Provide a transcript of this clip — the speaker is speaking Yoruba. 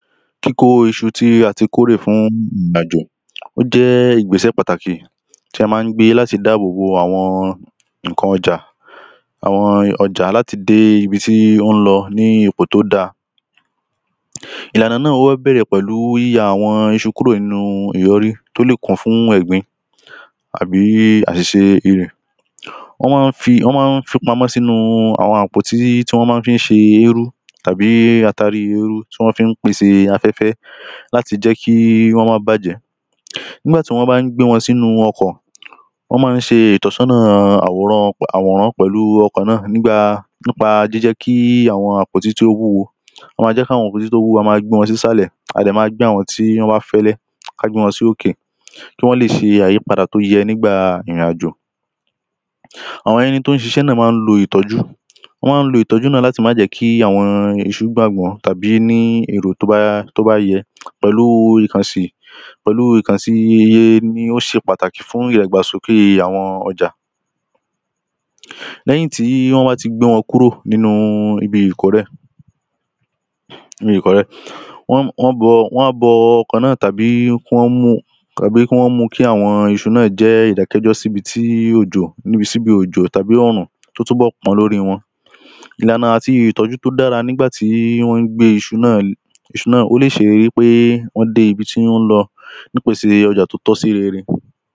kíkó iṣu tí a ti kórè fún àjò, ó jẹ́ ìgbésẹ̀ pàtàkì tí a máa ń gbé láti dáàbò bo àwọn ǹkan ọjà, àwọn ọjà láti dé ibi tí ó ń lọ ní ipò tí ó da. ìlànà náà wá bẹ̀rẹ̀ pẹ̀lú yíya àwọn iṣu kúrò nínu ìyọrí tó lè kún fún ẹ̀gbin àbí àṣìṣe. wọ́n mọ́n ń fi, wọ́n mọ́n ń fi pamọ́ sínúu àwọn àpótí tí wọ́n mọ́n ń fi ṣe eérú tàbí atari eérú tí wọ́n fi ń pèse afẹ́fẹ́ láti jẹ́ kí wọ́n má bàjẹ́. nígbà tí wọ́n bá ń gbé wọn sínú ọkọ̀, wọ́n mọ́n ń ṣe ìtọ́sọ́nà àwòrán um pẹ̀lu ọkọ̀ náà nígbà, nípa jíjẹ́ kí àwọn àpótí tí ó wúwo, wọ́n máa jẹ́ kí àwọn àpóti tó wúwo, a máa gbé wọn sísàlẹ̀, a dẹ̀ máa gbé àwọn tí wọ́n bá fẹ́lẹ́ ká gbé wọn sí òkè kí wọ́n lè ṣe àyípadà tó yẹ nígbà ìrìn àjò. àwọn ẹni tó ń ṣiṣé náà mọ́n ń lo ìtọ́jú, wọ́n ń lo ìtọ́jú náà láti má jẹ̀ kí àwọn iṣu gbàgbọ́n tàbí ní èrò tó bá, tó bá yẹ pẹ̀lúu ìkànsì, pẹ̀lúu ìkànsì iye ni ó ṣe pàtàkì fún ìdàgbàsókè àwọn ọjà. lẹ́yìn tí wọ́n bá ti gbé wọn kúrò nínu ibi, wọ́n, wọ́n bọ, wọ́n á bọ ọ̀kan náà tàbí kí wọ́n mú, kàbí kí wọ́n mú u kí àwọn iṣu náà jẹ́ ìdákẹ́jọ́ síbi tí òjò níbi síbi òjò tàbí ọ̀rùn tó túnbọ̀ pọ́n lóri wọn. ìlànà àti ìtọ́jú tó dára nígbà tí wọ́n ń gbé iṣu náà, iṣu náà, ó lè ṣe wí pé wọ́n dé ibi tí wọ́n lọ nípèse ọjà tó tọ́ sí rere.